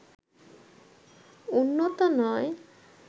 উন্নত নয়